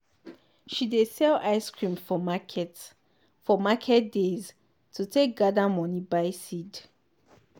she dey sell ice cream for market for market days to take gather money buy seed.